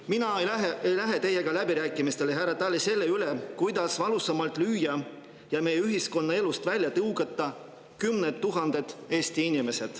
Mina ei lähe teiega läbirääkimistele, härra Tali, selle üle, kuidas valusamalt lüüa ja meie ühiskonnaelust välja tõugata kümneid tuhandeid Eesti inimesi.